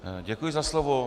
Děkuji za slovo.